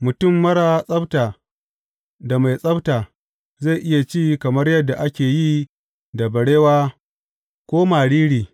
Mutum marar tsabta da mai tsabta zai iya ci kamar yadda ake yi da barewa ko mariri.